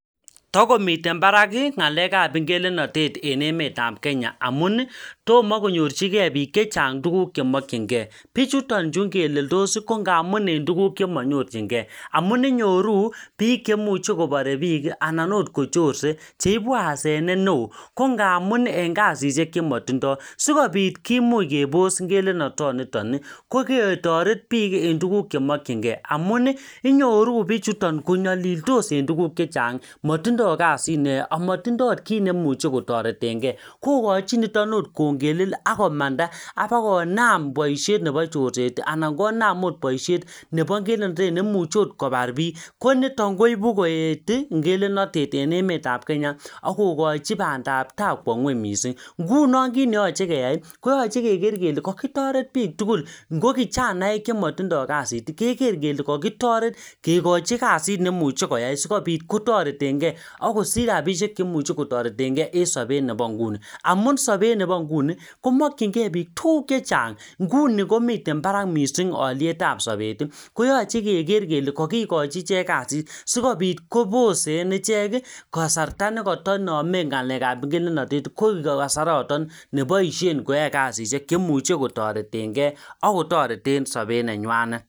takomiten baraki ngalekab ngelelnotet en emetab kenya ngamuni tomo konyorchin kee bik chechang tugk chemokyin kee bichuton chu ingeleldos ko ngamun en tuguk chemonyorchingee amun inyoruu biik cheimuche kobore biik anan oot kochorse ko ibu asenet neoo kongamun en kasishek chemotindo sikopit kimuch kebos ngelelnotoniton koketoret biik en tuguk chemokyinkee amun inyoruu bichuton konyolildos en tugk chechang motindo kazit neyoe amotindo oot kit neimuche kotoretengee kokochin nitok oot kongelel akomanda abakonam boishet nepo chorset anan konam oot boishet nepo ngelenotetneimuche ot kobar biik ko nitok koibukooeti ngelelnotet en emetab kenya akokochi bandap taa kwo ngweny missing ngunon kit neyoche keyai koyoche keker kele kokitoret biik tugul ngo kijanaek chemotindo kaziti keker kele kokikochi kazit neimuche koyai sikopit kotoretenkee ak kosich rapishek cheimuche kotoretngee en sobet nepo nguni amun sobet nepo nguni komokyin kee bik tuguk chechang nguni komiten barak missing olietab sobeti koyoche keker kele kokikochi ichek kazit sikopit kobosen ichek kasarta nekotonomen ngalekab ngelelnotet koik kasaraton neboishen koyoe kasishek cheimuche kotoretngee akotoreten sobet nenywanet